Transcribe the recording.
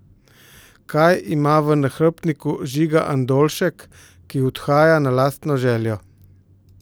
Kaj ima v nahrbtniku Žiga Andoljšek, ki odhaja na lastno željo?